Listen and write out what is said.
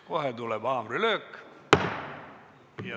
Kohe tuleb haamrilöök.